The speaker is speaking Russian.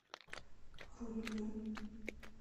рудню